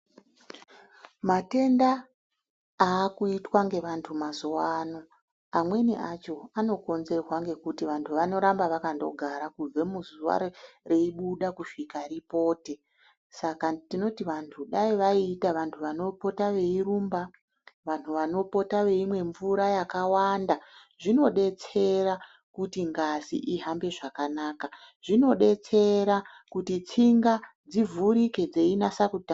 Matenda aakuitwa ngevantu mazuvano amweni acho anokonzerwa ngekuti vantu vanoramba wakandogara kubve muzuva reibuda kusvika ripote. Saka tinoti vantu dai waiita vantu wanopota weirumba, vantu wanopota weimwe mvura yakawanda. Zvinodetsera kuti ngazi ihambe zvakanaka, zvinodetsera kuti tsinga dzivhurike dzeinasa kuta